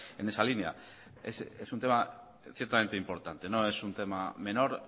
en esa línea es un tema ciertamente importante no es un tema menor